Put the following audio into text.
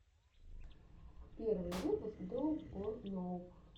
первый выпуск доуп ор ноуп